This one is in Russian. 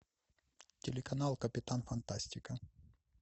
телеканал капитан фантастика